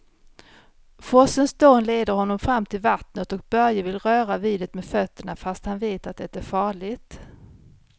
Forsens dån leder honom fram till vattnet och Börje vill röra vid det med fötterna, fast han vet att det är farligt.